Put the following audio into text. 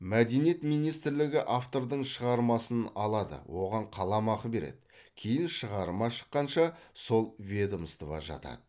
мәдениет министрлігі автордың шығармасын алады оған қаламақы береді кейін шығарма шыққанша сол ведомствода жатады